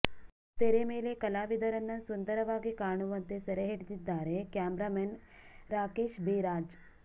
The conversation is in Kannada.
ತೆರೆ ಮೇಲೆ ಕಲಾವಿದರನ್ನ ಸುಂದರವಾಗಿ ಕಾಣುವಂತೆ ಸೆರೆಹಿಡಿದಿದ್ದಾರೆ camera man Rakesh B Raj